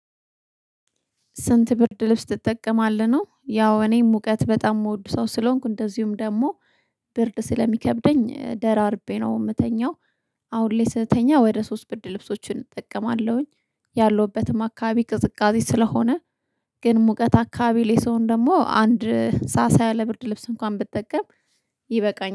ስንት ብርድ ልብስ ትጠቀማለህ ነው ያው እኔ ሙቀት በጣም የምወድ ሰው ስለሆንኩ እንደዚሁም ደግሞ ብርድ ስለሚከብደኝ ደራርቤ ነው የምተኛው። አሁን ላይ ስተኛ ወደ ሶስት ብርድ ልብሶችን እጠቀማለሁኝ ያለሁበትም አካባቢ ቅዝቃዜ ስለሆነ ግን ሙቀት አካባቢ ላይ ሰውን ደግሞ አንድ ሳሳ ያለ ብርድ ልብስ እንኳን ብጠቀም ይበቃኛል።